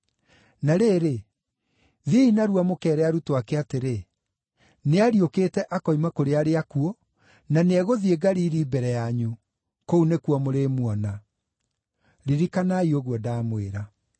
Na rĩrĩ, thiĩi narua mũkeere arutwo ake atĩrĩ, ‘Nĩariũkĩte akoima kũrĩ arĩa akuũ, na nĩegũthiĩ Galili mbere yanyu. Kũu nĩkuo mũrĩmuona.’ Ririkanai ũguo ndaamwĩra.”